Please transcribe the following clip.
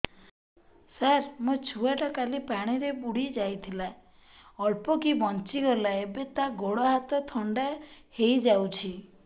ସାର ମୋ ଛୁଆ ଟା କାଲି ପାଣି ରେ ବୁଡି ଯାଇଥିଲା ଅଳ୍ପ କି ବଞ୍ଚି ଗଲା ଏବେ ତା ଗୋଡ଼ ହାତ ଥଣ୍ଡା ହେଇଯାଉଛି